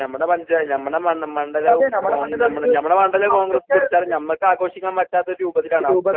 നമ്മടെ പഞ്ചായത്ത് നമ്മടെ മണ്ഡ നമ്മടെ മണ്ഡലവും ഞമ്മടെ കോൺഗ്രസ് പിടിച്ചാല് ഞമ്മക്ക് ആഘോഷിക്കാൻ പറ്റാത്ത ഒരു രൂപത്തിലാണ് അവസ്ഥ